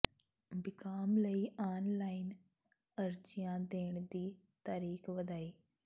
BCom ਲਈ online ਅਰਜ਼ੀਆਂ ਦੇਣ ਦੀ ਤਰੀਕ ਵਧਾਈ